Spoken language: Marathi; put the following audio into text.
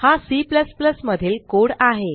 हा C मधील कोड आहे